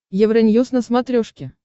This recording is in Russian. евроньюз на смотрешке